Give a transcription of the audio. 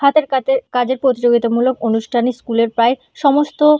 হাতের কাতে কাজের প্রতিযোগিতা মূলক অনুষ্ঠানে স্কুল -এর প্রায় সমস্ত--